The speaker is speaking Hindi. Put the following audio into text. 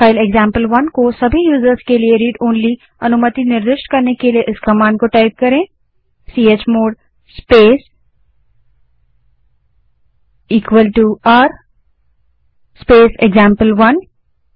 फाइल एक्जाम्पल1 को सभी के लिए read ओनली अनुमति निर्दिष्ट करने के लिए इस command chmod space r space example one को टाइप